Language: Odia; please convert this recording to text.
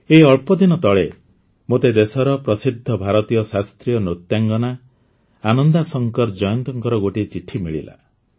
ଏଇ ଅଳ୍ପଦିନ ତଳେ ମୋତେ ଦେଶର ପ୍ରସିଦ୍ଧ ଭାରତୀୟ ଶାସ୍ତ୍ରୀୟ ନୃତ୍ୟାଙ୍ଗନା ଆନନ୍ଦାଶଙ୍କର ଜୟନ୍ତଙ୍କର ଗୋଟିଏ ଚିଠି ମିଳିଲା